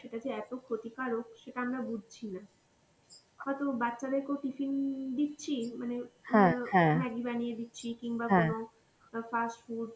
সেটা যে এত ক্ষতিকারক সেটা আমরা বুঝছি না হয়তো বাচ্চাদের কেউ tiffin দিচ্ছি মানে ওই maggi বানিয়ে দিচ্ছি কিংবা ধরো আ fast food